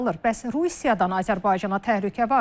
Bəs Rusiyadan Azərbaycana təhlükə varmı?